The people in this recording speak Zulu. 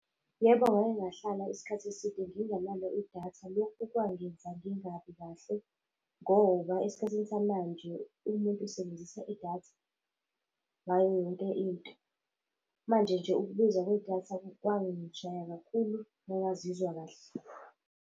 Yebo, ngake ngahlala isikhathi eside ngingenalo idatha. Lokhu kwangenza ngingabi kahle ngoba esikhathini samanje umuntu usebenzisa idatha ngayo yonke into. Manje nje ukubiza kwedatha kwangishaya kakhulu ngangazizwa kahle.